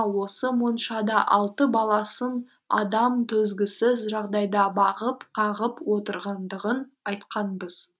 осы моншада алты баласын адам төзгісіз жағдайда бағып қағып отырғандығын айтқанбыз